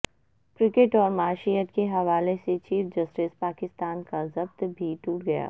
cricket اور معیشت کے حوالے سے چیف جسٹس پاکستان کا ضبط بھی ٹوٹ گیا